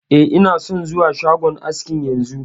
E, ina son zuwa shagon askin yanzu